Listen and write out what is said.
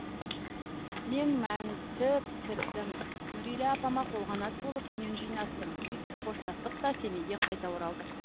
мен мәнті пісірдім нұрила апама қолқанат болып үйін жинастым сөйтіп қоштастық та семейге қайта оралдық